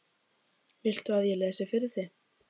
Viltu að ég lesi fyrir þig?